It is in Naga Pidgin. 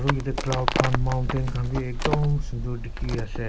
bhu yate cloud khan mountain khan bhi akdom sunder dekhi ase.